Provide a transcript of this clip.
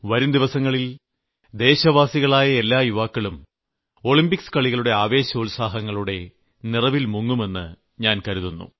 വരുംദിവസങ്ങളിൽ ദേശവാസികളായ എല്ലാ യുവാക്കളും ഒളിംമ്പിക്സ് കളികളുടെ ആവേശോൽസാഹങ്ങളുടെ നിറങ്ങളിൽ മുങ്ങുമെന്ന് ഞാൻ കരുതുന്നു